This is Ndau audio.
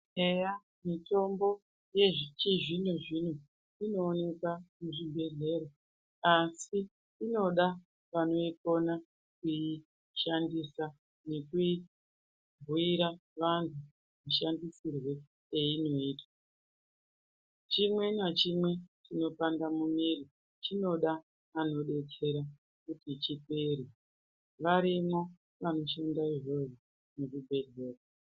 Eya mitombo yechizvino-zvino inoonekwa muzvibhedhleya asi inoda vanoikona kuishandisa nekuibhuira vantu mashandisirwo einoitwa .Chimwe nachimwe chinopanda mumwiri chinoda vanodetsera kuti chipere. Varimwo vanoshanda izvozvo muzvibhedhlera.